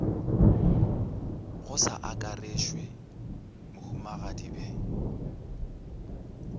go sa akarešwe mohumagadi bhe